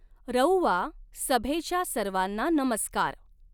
रउआ सभेच्या सर्वांना नमस्कार!